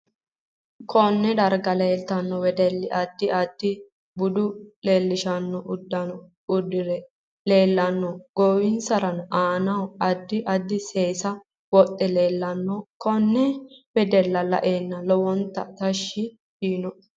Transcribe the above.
Konne darga leeltanno wedelli addi addi bude leelishnno uddanno uddire leelanno goowinsa aanna addi addi seesa wodhe leelanno konne wedella la'ayanni lowonta tashshi yiinoe